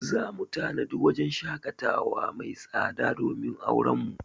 Za mu tanadi wajen shaƙatawa mai tsada domin auren mu.